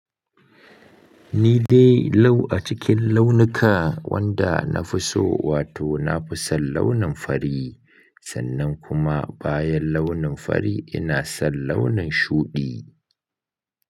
Ni dai lau a cikin launuka wanda na fi so wato na fi son launin fari sannan kuma bayan launin fari ina son launin shuɗi.